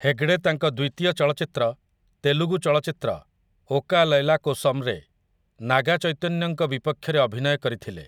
ହେଗଡେ ତାଙ୍କ ଦ୍ୱିତୀୟ ଚଳଚ୍ଚିତ୍ର, ତେଲୁଗୁ ଚଳଚ୍ଚିତ୍ର 'ଓକା ଲୈଲା କୋସମ ', ରେ ନାଗା ଚୈତନ୍ୟଙ୍କ ବିପକ୍ଷରେ ଅଭିନୟ କରିଥିଲେ ।